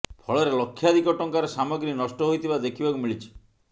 ଫଳରେ ଲକ୍ଷାଧିକ ଟଙ୍କାର ସାମଗ୍ରୀ ନଷ୍ଟ ହୋଇଥିବା ଦେଖିବାକୁ ମିଳିଛି